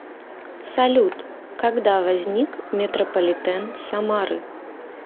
салют когда возник метрополитен самары